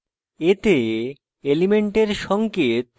এতে element সঙ্কেত